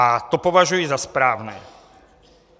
A to považuji za správné.